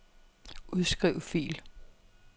Udskriv fil.